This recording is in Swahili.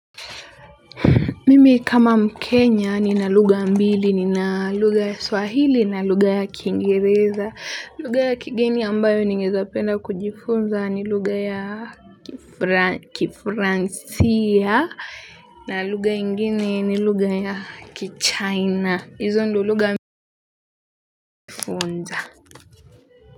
Mimi kama mkenya nina lugha mbili. Nina lugha ya swahili, na lugha ya kiingereza. Lugha ya kigeni ambayo ningeeza penda kujifunza ni lugha ya kifra kifransia. Na lugha ingine ni lugha ya kichina.